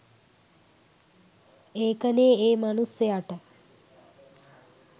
ඒකනෙ ඒ මනුස්සයට